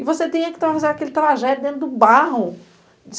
E você tinha que fazer aquela tragédia dentro do barro.